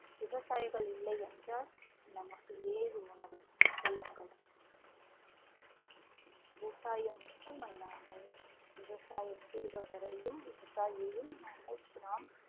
விவசாயிகள் இல்லை என்றால் நமக்கு ஏது உணவு சொல்லுங்கள் விவசாயம் மட்டும் அல்லாமல் விவசாயம் செய்தவரையும் விவசாயியையும் நாங்கள் நாம்